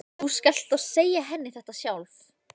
Verður leikaðferðin á morgun sú sama og hefur verið?